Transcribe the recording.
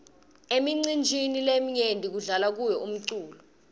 emicinjini leminyenti kudla lwa umculo